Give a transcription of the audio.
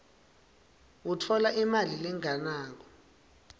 utfola imali lengenako